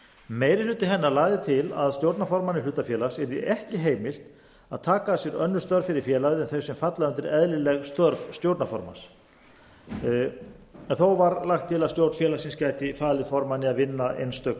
meiri hluti hennar lagði til að stjórnarformanni hlutafélags yrði ekki heimilt að taka að sér önnur störf fyrir félagið en þau sem falla undir eðlileg störf stjórnarformanns þó var lagt til að stjórn félagsins gæti falið að vinna einstök